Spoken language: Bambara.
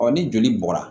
ni joli bɔra